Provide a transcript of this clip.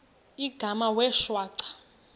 igama wee shwaca